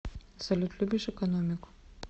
салют любишь экономику